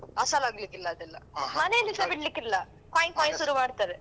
ಅಸಲಾಗ್ಲಿಕ್ಕಿಲ್ಲಾ ಅದೆಲ್ಲ ಮನೆಯಲ್ಲಿಸಾ ಬಿಡಲಿಕ್ಕಿಲ್ಲ ಕೊಯ್ ಕೊಯ್ ಶುರು ಮಾಡ್ತಾರೆ.